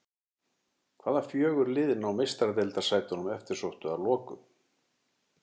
Hvaða fjögur lið ná Meistaradeildarsætunum eftirsóttu að lokum?